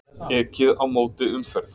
Ekið á móti umferð